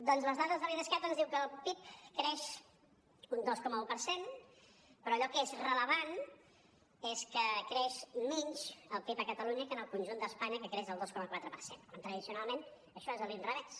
doncs les dades de l’idescat ens diuen que el pib creix un dos coma un per cent però allò que és rellevant és que creix menys el pib a catalunya que en el conjunt d’espanya que creix el dos coma quatre per cent quan tradicionalment això és a l’inrevés